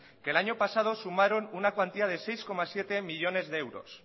que el año pasado sumaron una cuantía de seis coma siete millónes de euros